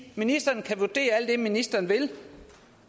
ministeren kan vurdere alt det ministeren vil